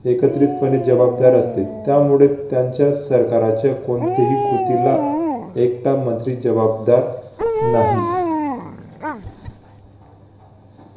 एकत्रीतपणे जबाबदार असते. त्यामुळे त्यांच्या सरकाराचे कोणतेही कृतीला एकटा मंत्री जबाबदार नाही.